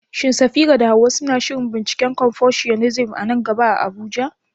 Shin Safira da Hawwa suna shirin binciken Confucianism a nan gaba a Abuja?